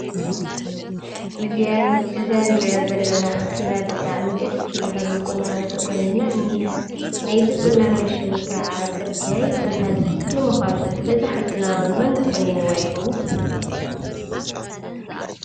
እዛ ንሪኣ ዘለና ሓፍትና ብጣዕሚ ደስ ባሃሊ ቁናኖ ተቆኒና እኒሃ ፡፡ ናይዚ ቁናኖ ሽሙ ከዓ ፅርግያ ይብሃል ። ንምዃኑ ንዛ ሓፍትና መን ቆኒንዋ ይኸውን ?